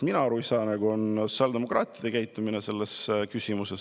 Mina ei saa aga aru sotsiaaldemokraatide käitumisest selles küsimuses.